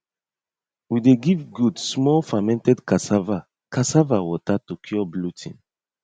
we dey give goat small fermented cassava cassava water to cure bloating